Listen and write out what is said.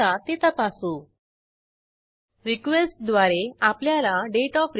ह्या मेथडमधे रिक्वेस्ट मधे चेकआउट अॅट्रिब्यूट सेट करू